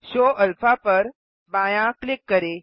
show alpha पर बायाँ click करें